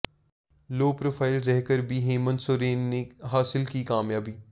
लो profile रहकर भी हेमंत सोरेन ने हासिल की कामयाबी